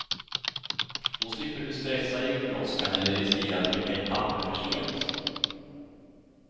Då slipper du stressa i julbrådskan eller riskera att skicka in papper för sent.